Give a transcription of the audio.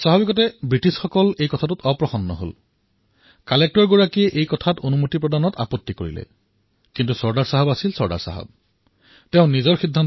স্বাভাৱিকতে ব্ৰিটিছ তেওঁৰ ওপৰত অসন্তুষ্ট হল আৰু উপায়ুক্তই ইয়াৰ বাবে অনুমতি দিয়াৰ বাবে পিছ হোঁহকি থাকিল কিন্চু চৰ্দাৰ চাহাব চৰ্দাৰেই আছিল